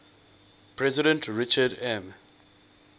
president richard m